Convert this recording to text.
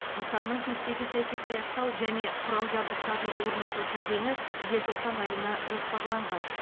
нысанның кестеге сәйкес аяқтау және құрал жабдықтарын орнату кезеңі желтоқсан айына жоспарланған